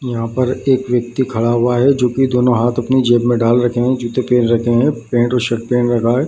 यहाँ पर एक व्यक्ति खड़ा हुआ है जो की दोनों हाथ अपनी जेब में डाल रखे है जूते पेहेन रखे है पेन्ट और शर्ट पेहेन रखा है।